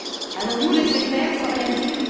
Allons nous laisser faire sans rien dire?